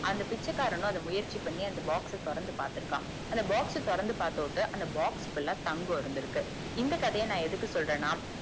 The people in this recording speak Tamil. அந்த பிச்சைக்காரனும் அத முயற்சி பண்ணி அந்த box அஹ் தொறந்து பாத்துருக்கான் அந்த box அஹ் தொறந்தது பாத்துட்டு அந்த box full தங்கம் இருந்துருக்கு இந்த கதைய எதுக்கு சொல்லறேனா